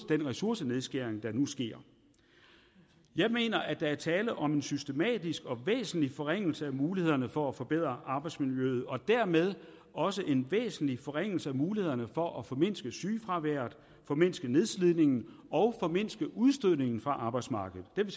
ressourcenedskæring der nu sker jeg mener at der er tale om en systematisk og væsentlig forringelse af mulighederne for at forbedre arbejdsmiljøet og dermed også en væsentlig forringelse af mulighederne for at formindske sygefraværet formindske nedslidningen og formindske udstødningen fra arbejdsmarkedet den